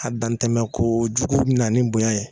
A dantɛmɛ ko jugu bɛ na ni bonya ye.